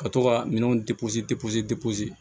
Ka to ka minɛnw